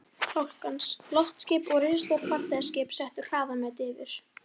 Fálkans, loftskip og risastór farþegaskip settu hraðamet yfir